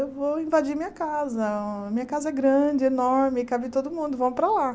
Eu vou invadir minha casa, minha casa é grande, enorme, cabe todo mundo, vamos para lá.